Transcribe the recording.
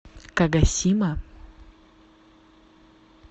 кагосима